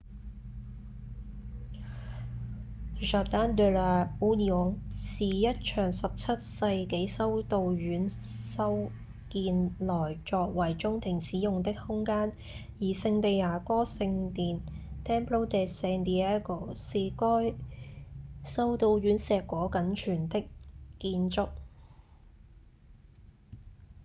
jardín de la unión 是一座17世紀修道院修建來作為中庭使用的空間而聖地牙哥聖殿 templo de san diego 是該修道院碩果僅存的建築